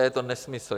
A je to nesmysl.